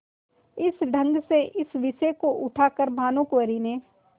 इस ढंग से इस विषय को उठा कर भानुकुँवरि ने